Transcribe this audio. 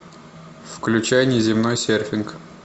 включай неземной серфинг